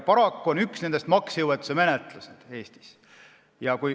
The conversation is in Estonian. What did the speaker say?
Paraku on üks nendest maksejõuetuse menetlus.